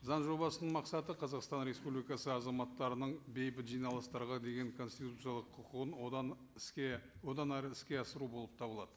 заң жобасының мақсаты қазақстан республикасы азаматтарының бейбіт жиналыстарға деген конституциялық құқығын одан іске одан әрі іске асыру болып табылады